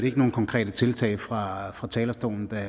ikke nogen konkrete tiltag fra fra talerstolen da